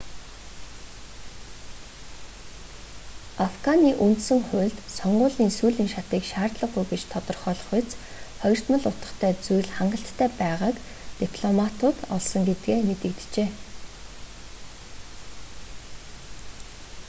афганы үндсэн хуульд сонгуулийн сүүлийн шатыг шаардлагагүй гэж тодорхойлохуйц хоёрдмол утгатай зүйл хангалттай байгааг дипломтууд олсон гэдгээ мэдэгджээ